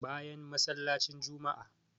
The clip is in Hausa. Bayan masallacin juma'a